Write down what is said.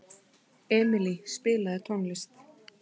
Emilý, spilaðu tónlist.